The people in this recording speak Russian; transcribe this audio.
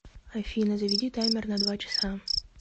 афина заведи таймер на два часа